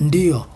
Ndiyo,